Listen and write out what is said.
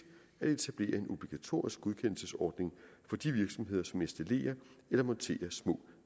at etablere en obligatorisk godkendelsesordning for de virksomheder som installerer eller monterer små